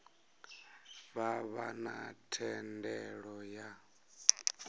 vha vha na thendelo ya